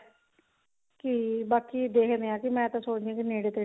ਕਿ ਬਾਕੀ ਦੇਖਦੇ ਆਂ ਕਿ ਮੈਂ ਤਾਂ ਸੋਚਦੀ ਹਾਂ ਕਿ ਨੇੜੇ ਤੇੜੇ